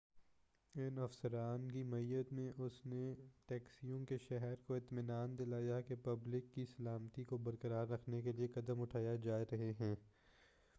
اُن افسران کی معیّت میں اس نے ٹیکساس کے شہریوں کو اطمینان دلایا کہ پبلک کی سلامتی کو برقرار رکھنے کے لئے قدم اٹھائے جا رہے ہیں